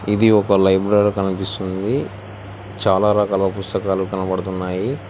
ఇది ఒక లైబ్రరీ కనిపిస్తుంది చాలా రకాల పుస్తకాలు కనబడుతున్నాయి.